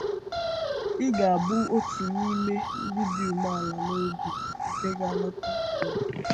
Ị ga-abụ otu n’ime “ndị dị umeala n’obi” nke ga-anata ụwa?